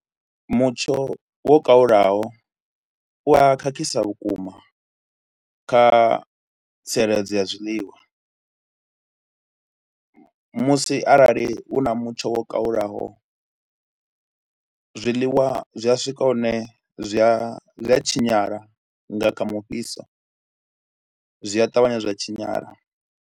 Mutsho wo kalulaho u a khakhisa vhukuma kha tsireledzo ya zwiḽiwa musi arali u na mutsho wo kalulaho, zwiḽiwa zwi a swika hune zwi a zwi a tshinyala nga kha mufhiso, zwi a ṱavhanya zwa tshinyala.